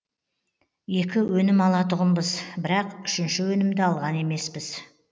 екі өнім алатұғынбыз бірақ үшінші өнімді алған емеспіз